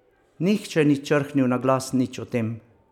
Nihče ni črhnil na glas nič o tem.